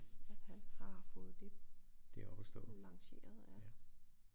At han har fået det lanceret ja